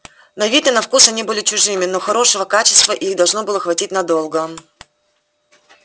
на вид и на вкус они были чужими но хорошего качества и их должно было хватить надолго